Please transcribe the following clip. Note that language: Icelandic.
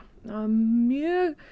mjög